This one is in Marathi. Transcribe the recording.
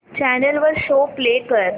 चॅनल वर शो प्ले कर